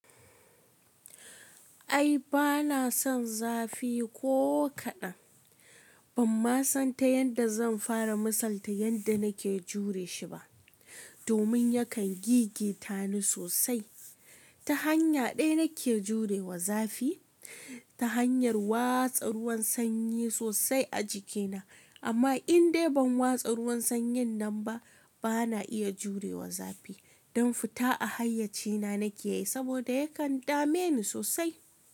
Ai bana son zafi ko kaɗan. Ban ma san ta yadda zan fara misalta yadda nake jure shi ba, domin yakan gigita ni sosai. Ta hanya ɗaya nake jurewa zafi, ta hanyar watsa ruwan sanyi sosai a jikina. Amma in dai ban watsa ruwan sanyin nan ba, bana iya jurewa zafi. Don fita a hayyacina nake yi saboda yakan dame ni sosai.